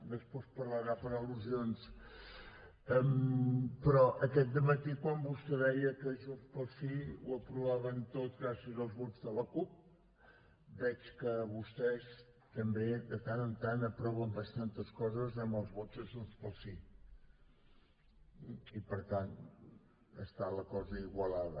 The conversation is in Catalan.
després parlarà per al·lusions però aquest dematí quan vostè deia que junts pel sí ho aprovaven tot gràcies als vots de la cup veig que vostès també de tant en tant aproven bastantes coses amb els vots de junts pel sí i per tant està la cosa igualada